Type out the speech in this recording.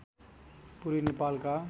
पूर्वी नेपालका